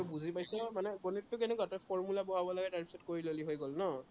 বুজি পাইছ, মানে গনিতটো কেনেকুৱা, তই formula বঢ়াব লাগে তাৰপিছত কৰি ললি হৈ গল ন?